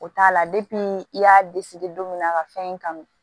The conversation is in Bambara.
O t'a la i y'a don min na a ka fɛn in kanu